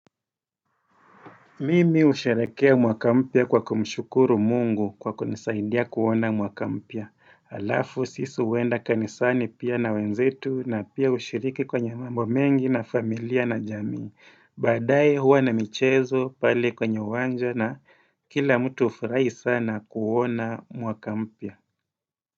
Mimi usharehekea mwakampia kwa kumshukuru mungu kwa kunisaidia kuona mwakampya. Alafu sisi huenda kanisani pia na wenzetu na pia ushiriki kwenye mambo mengi na familia na jamii. Baadae huwa na michezo pale kwenye wanja na kila mtu hufurahi sana kuona mwaka mpya.